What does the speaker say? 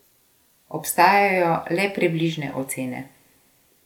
Obstajajo le približne ocene.